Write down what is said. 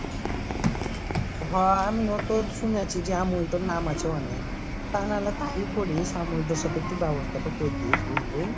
হ আমিও তো শুনেছি আমাউলটার নাম আছে অনেক তানাহলে তাই করিস আমাউলটার সাথে একটু ব্যাবস্থাটা করে দিস বুঝলি